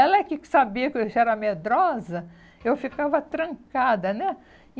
Ela que sabia que eu que era medrosa, eu ficava trancada, né?